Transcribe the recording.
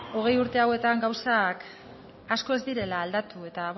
hogei urte hauetan gauzak asko ez direla aldatu eta